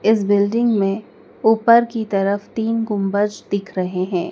इस बिल्डिंग में ऊपर की तरफ तीन गुंबज दिख रहे हैं।